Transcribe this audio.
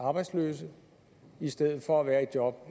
arbejdsløse i stedet for at være i job